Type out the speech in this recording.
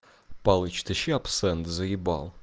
палыч тащи абсент заебал